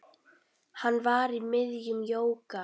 Hann var í miðjum jóga